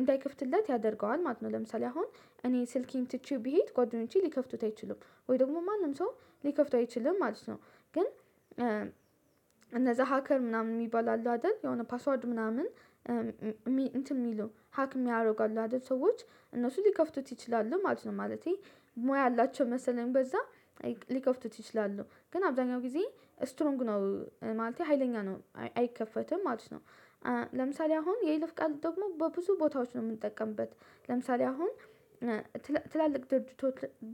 እንዳይከፍትለት ያደርገዋል ማለት ነው። ለምሳሌ አሁን እኔ ስልኬን ትቼው ብሄድ ጓደኞቼ ሊከፍቱት አይችሉም። ወይ ደግሞ ማንም ሰው ሊከፍተው አይችልም ማለት ነው። ግን እነዛ ሀከር ምናምን የሚባል አሉ አይደል? የሆነ ፓስዋርድ ምናምን። እንትን የሚሉ ሀክ የሚያረጉ አሉ አይደል? ሰዎች እነሱ ሊከፍቱት ይችላሉ ማለት ነው። ማለቴ ሞያ አላቸው መሰለኝ በዛ ሊከፍቱት ይችላሉ ግን አብዛኛው ጊዜ እስትሮንግ ነው ማለቴ ሀይለኛ ነው አይከፈትም ማለት ነው። ለምሳሌ አሁን የይልፍ ቃል ደግሞ በብዙ ቦታዎች ነው የምንጠቀምበት። ለምሳሌ አሁን ትላልቅ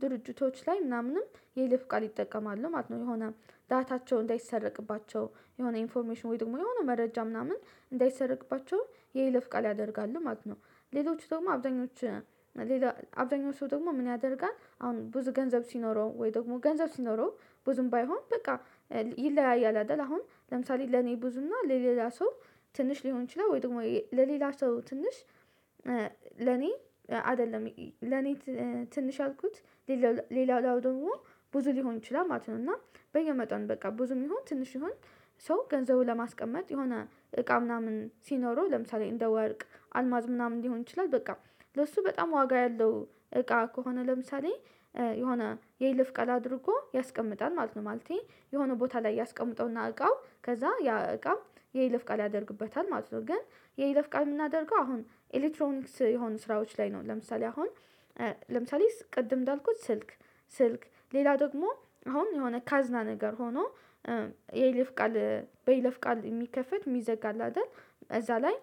ድርጅቶች ላይ ምናምንም የይለፍ ቃል ይጠቀማሉ ማለት ነው። የሆነ ዳታቸው እንዳይሰረቅባቸው የሆነ ኢንፎርሜሽን ወይ ደግሞ የሆነ መረጃ ምናምን እንዳይሰረቅባቸው የይለፍ ቃል ያደርጋሉ ማለት ነው። ሌሎቹ ደግሞ አብዛኞች ሌላ አብዛኞቹ ደግሞ ምን ያደርጋል አሁን ብዙ ገንዘብ ሲኖረው ወይ ደግሞ ገንዘብ ሲኖረው ብዙም ባይሆን በቃ ይለያያል አይደል? አሁን ለምሳሌ ለኔ ብዙና ለሌላ ሰው ትንሽ ሊሆን ይችላል ወይ ደግሞ ለሌላ ሰው ትንሽ ለኔ አይደለም ለኔ ትንሽ ያልኩት ለሌላው ደግሞ ብዙ ሊሆን ይችላል ማለት ነው። እና በየመጠኑ በቃ ብዙም ይሁን ትንሽ ይሁን ሰው ገንዘቡን ለማስቀመጥ የሆነ እቃ ምናምን ሲኖረው ለምሳሌ እንደ ወርቅ አልማዝ ምናምን ሊሆን ይችላል በቃ ለሱ በጣም ዋጋ ያለው እቃ ከሆነ ለምሳሌ የሆነ የይለፍ ቃል አድርጎ ያስቀምጣል ማለት ነው። ማለቴ የሆነ ቦታ ላይ ያስቀምጠውና እቃው ከዛ ያ እቃ የይለፍ ቃል ያደርግበታል ማለት ነው። ግን የይለፍ ቃል የምናደርገው አሁን ኤሌክትሮኒክስ የሆኑ ስራዎች ላይ ነው። ለምሳሌ አሁን ለምሳሌ ቅድም እንዳልኩት ስልክ ስልክ ሌላ ደግሞ አሁን የሆነ ካዝና ነገር ሆኖ የይልፍ ቃል በይለፍ ቃል የሚከፈት የሚዘጋ አለ አይደል? እዛ ላይ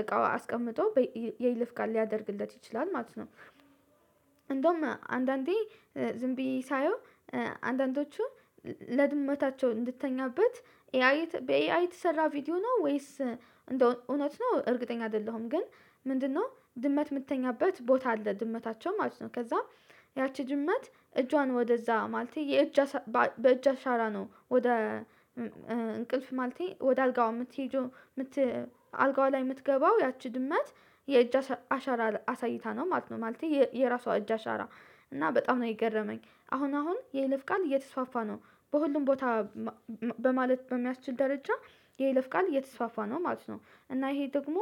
እቃው አስቀምጦ የይለፍ ቃል ሊያደርግለት ይችላል ማለት ነው። እንደውም አንዳንዴ ዝም ብዬ ሳየው አንዳንዶቹ ለድመታቸው እንድትተኛበት በኤአይ የተሰራ ቪዲዮ ነው ወይስ እንደው እውነት ነው እርግጠኛ አይደለሁም። ግን ምንድነው ድመት የምትተኛበት ቦታ አለ ድመታቸው ማለት ነው። ከዛ ያቺ ድመት እጇን ወደዛ ማለት የእጅ በእጅ አሻራ ነው ወደ እንቅልፍ ማለት ወደ አልጋው የምትሄደው አልጋዋ ላይ የምትገባው ያቺ ድመት የእጅ አሻራ አሳይታ ነው ማለት ነው። ማለቴ የራሷ እጅ አሻራ እና በጣም ነው የገረመኝ አሁን አሁን የይለፍ ቃል እየተስፋፋ ነው። በሁሉም ቦታ በማለት በሚያስችል ደረጃ የይለፍ ቃል እየተስፋፋ ነው ማለት ነው። እና ይሄ ደግሞ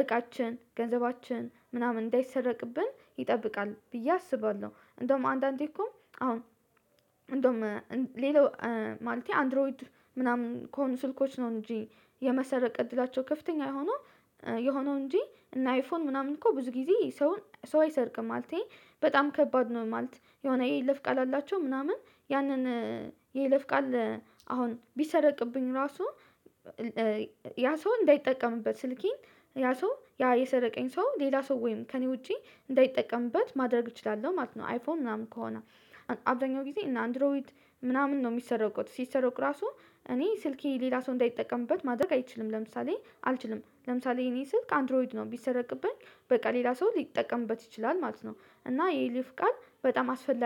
እቃችን ገንዘባችን ምናምን እንዳይሰረቅብን ይጠብቃል ብዬ አስባለሁ። እንደውም አንዳንዴ እኮ አሁን እንደውም ሌላው ማለቴ አንድሮይድ ምናምን ከሆኑ ስልኮች ነው እንጂ የመሰረቅ እድላቸው ከፍተኛ የሆኑ የሆነው እንጂ እና አይፎን ምናምን እኮ ብዙ ጊዜ ሰው ሰው አይሰርቅም ማለቴ በጣም ከባድ ነው ማለት የሆነ የይለፍ ቃል አላቸው። ምናምን ያንን የይለፍ ቃል አሁን ቢሰረቅብኝ ራሱ ያ ሰው እንዳይጠቀምበት ስልኬን ያ ሰው ያ የሰረቀኝ ሰው ሌላ ሰው ወይም ከእኔ ውጪ እንዳይጠቀምበት ማድረግ እችላለሁ ማለት ነው። አይፎን ምናምን ከሆነ አብዛኛው ጊዜ እነ አንድሮይድ ምናምን ነው የሚሰረቁት። ሲሰረቁ ራሱ እኔ ስልኬ ሌላ ሰው እንዳይጠቀምበት ማድረግ አይችልም። ለምሳሌ አልችልም ለምሳሌ የኔ ስልክ አንድሮይድ ነው ቢሰረቅብኝ በቃ ሌላ ሰው ሊጠቀምበት ይችላል ማለት ነው። እና የይለፍ ቃል በጣም አስፈላጊ